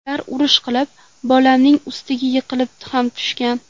Ular urush qilib, bolamning ustiga yiqilib ham tushgan.